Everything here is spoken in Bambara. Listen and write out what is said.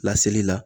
Laseli la